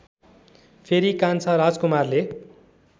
फेरि कान्छा राजकुमारले